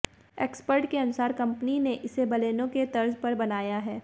expert के अनुसार company ने इसे बलेनो के तर्ज पर बनाया है